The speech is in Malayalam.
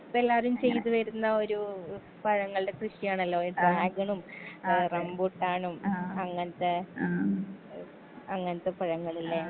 ഇപ്പെല്ലാരും ചെയ്ത് വെരുന്ന ഒരൂ പഴങ്ങൾടെ കൃഷിയാണല്ലൊ ഈ ഡ്രാഗണും ഏ റംബൂട്ടാനും അങ്ങൻത്തെ ഏ അങ്ങൻത്തെപഴങ്ങള് ലെ.